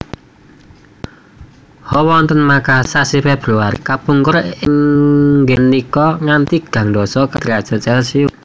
Hawa wonten Makasar sasi Februari kapungkur inggih menika ngantos tigang dasa kalih derajat celcius